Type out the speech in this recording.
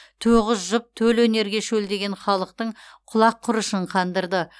тоғыз жұп төл өнерге шөлдеген халықтың құлақ құрышын қандырды